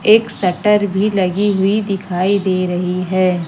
एक शटर भी लगी हुई दिखाई दे रही है।